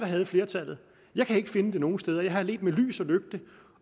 havde flertallet jeg kan ikke finde det nogen steder jeg har ledt med lys